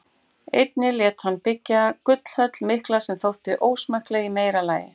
Einnig lét hann byggja gullhöll mikla sem þótti ósmekkleg í meira lagi.